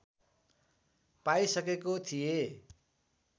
पाइसकेको थिएँ